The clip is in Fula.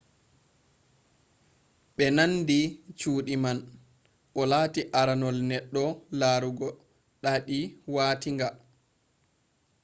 ɓe nandi cuuɗi man. o lati aranol neɗɗo larugo ɗaaɗi watinga